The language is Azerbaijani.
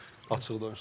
Açıq danışaq.